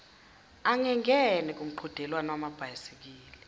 angengene emqhudelwaneni wamabhayisikili